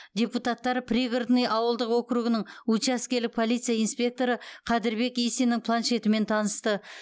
депутаттар пригородный ауылдық округінің учаскелік полиция инспекторы қадырбек исиннің планшетімен танысты